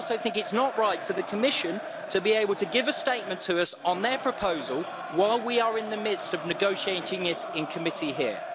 It is not right for the Commission to be able to give a statement to us on their proposal while we are in the midst of negotiating it in committee here.